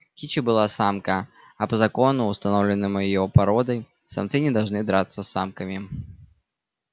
кича была самка а по закону установленному её породой самцы не должны драться с самками